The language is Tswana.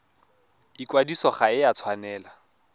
ikwadiso ga e a tshwanela